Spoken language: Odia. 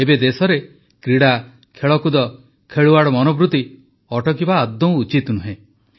ଏବେ ଦେଶରେ କ୍ରୀଡ଼ା ଖେଳକୁଦ ଖେଳୁଆଡ଼ ମନୋବୃତ୍ତି ଅଟକିବା ଉଚିତ ନୁହେଁ